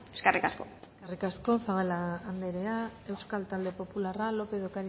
eskerrik asko eskerrik asko zabala andrea euskal talde popularra lópez de